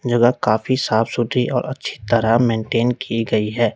जगह काफी साफ सूती और अच्छी तरह मेंटेन की गई है।